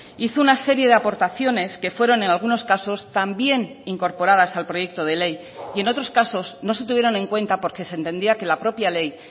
hizo una serie de aportaciones que fueron en algunos casos también incorporadas al proyecto de ley y en otros casos no se tuvieron en cuenta porque se entendía que la propia ley